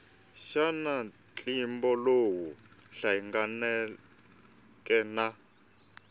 xana ntlimbo lowu hlanganeke na